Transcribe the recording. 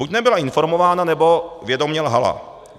Buď nebyla informována, nebo vědomě lhala.